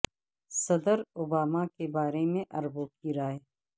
صدر Obama کے بارے میں عربوں کی رائے